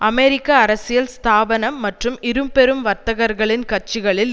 அமெரிக்க அரசியல் ஸ்தாபனம் மற்றும் இரு பெரும் வர்த்தகர்களின் கட்சிகளில்